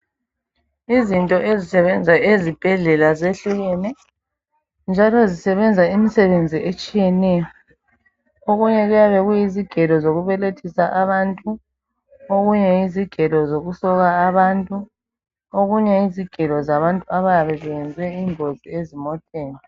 Izinto ezisebenza esibhedlela zehlukene njalo zisebenza imisebenzi ezitshiyeneyo. Okunye kuyabe kuyizigelo zokubelethisa abantu. Okunye yizigelo zokusoka abantu okunye yizigela zabantu abayabe belinyazwe zingozi ezimoteni.